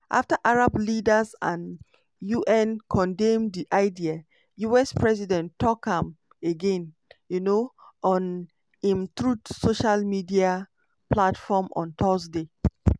after arab leaders and un condemn di idea us president tok am again um on im truth social social media platform on thursday.